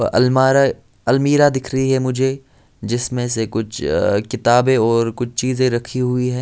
अ अल्मारा अलमीरा दिख रही हैं मुझे जिसमे से कुछ अ किताबे और कुछ चीज़े रखी हुई हैं।